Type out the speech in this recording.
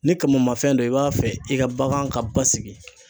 Ni kamamafɛn don i b'a fɛ i ka bagan ka basigi